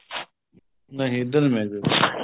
ਨਹੀਂ ਇੱਧਰ ਨੀ ਮੈਂ ਗਿਆ